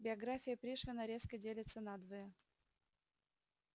биография пришвина резко делится надвое